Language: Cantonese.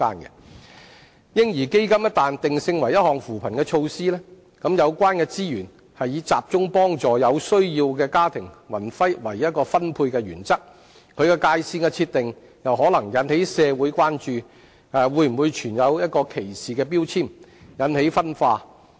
"嬰兒基金"一旦定性為扶貧措施，則有關資源是以集中幫助有需要的家庭為分配原則，其界線的設定可能引起社會關注會否存在歧視標籤，引起分化。